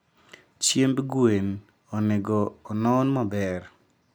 Chiemb gwen onego onon maber